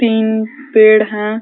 तीन पेड़ हैं।